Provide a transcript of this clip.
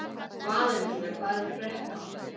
Valentína, hvað er að frétta?